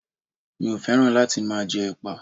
Mi ò fẹ́ràn láti máa jẹ ẹpa.